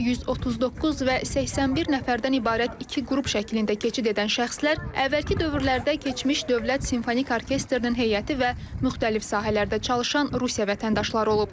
139 və 81 nəfərdən ibarət iki qrup şəklində keçid edən şəxslər əvvəlki dövrlərdə keçmiş Dövlət Simfonik Orkestrinin heyəti və müxtəlif sahələrdə çalışan Rusiya vətəndaşları olub.